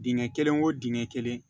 Dingɛ kelen o dingɛ kelen